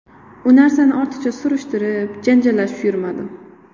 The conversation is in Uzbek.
U narsani ortiqcha surishtirib, janjallashib yurmadim.